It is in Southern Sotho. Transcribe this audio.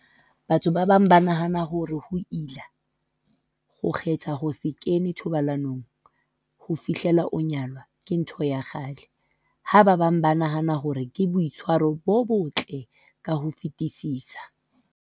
Batho ba bang ba nahana hore ho ila, ho kgetha ho se kene thobalanong ho fihlela o nyalwa, ke ntho ya kgale, ha ba bang ba nahana hore ke boitshwaro bo botle ka ho fetisisa.